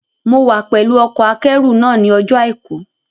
Mo wá pẹ̀lú ọkọ̀-akẹ́rù náà ní ọjọ́ àìkú